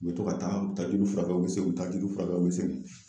U bɛ to ka taa u bɛ taa joli furakɛ, u bɛ segi u bɛ taa joli furakɛ u bɛ segin.